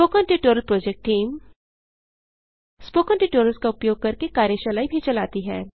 spoken tutorial project team spoken tutorials का उपयोग करके कार्यशालाएँ भी चलाती है